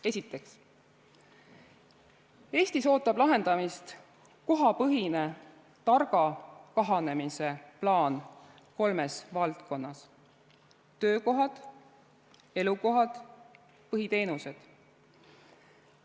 Esiteks, Eestis ootab lahendamist kohapõhine targa kahanemise plaan kolmes valdkonnas: töökohad, elukohad ja põhiteenused.